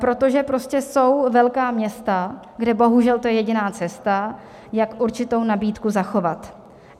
Protože prostě jsou velká města, kde bohužel to je jediná cesta, jak určitou nabídku zachovat.